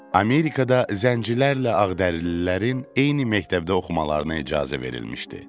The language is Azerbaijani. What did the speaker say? Amerikada zəncilərlə ağdərililərin eyni məktəbdə oxumalarına icazə verilmişdi.